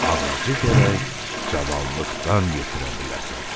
Ağacı gərək cavanlıqdan yetirə biləsən.